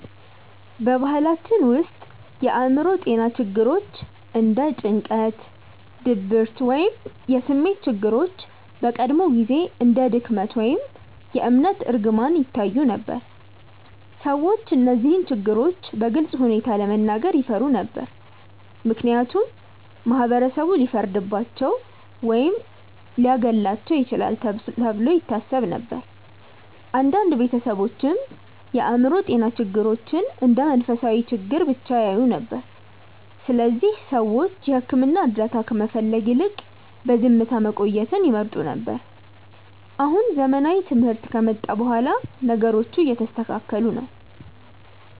በባህላችን ውስጥ የአእምሮ ጤና ችግሮች እንደ ጭንቀት፣ ድብርት ወይም የስሜት ችግሮች በቀድሞ ጊዜ እንደ ድክመት ወይም የእምነት እርግማን ይታዩ ነበር። ሰዎች እነዚህን ችግሮች በግልፅ ሁኔታ ለመናገር ይፈሩ ነበር፣ ምክንያቱም ማህበረሰቡ ሊፈርድባቸው ወይም ሊያገለልባቸው ይችላል ተብሎ ይታሰብ ነበር። አንዳንድ ቤተሰቦችም የአእምሮ ጤና ችግሮችን እንደ መንፈሳዊ ችግር ብቻ ያዩ ነበር፣ ስለዚህ ሰዎች የሕክምና እርዳታ ከመፈለግ ይልቅ በዝምታ መቆየትን ይመርጡ ነበር። አሁን ዘመናዊ ትምህርት ከመጣ በኋላ ነገሮቹ እየተስተካከሉ ነው።